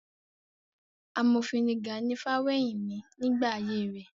Amòfin ni Gani Fawehinmi nígbà ayé rẹ̀.